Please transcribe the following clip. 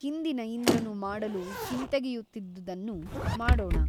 ಹಿಂದಿನ ಇಂದ್ರನು ಮಾಡಲು ಹಿಂತೆಗೆಯುತ್ತಿದ್ದುದನ್ನು ಮಾಡೋಣ.